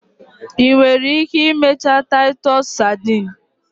Ị nwere ike imecha titus sadin?